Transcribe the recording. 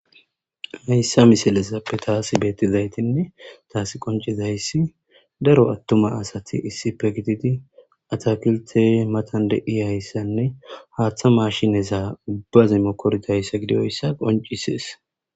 Hayssa misilesappe taasi beettizaytinne taasi qoncizayssi daro attuma asati issi pe gididi atakilte matan de iayssanne haaththa mashineza ubbaze mokordayssa gidioyssa qoncisees.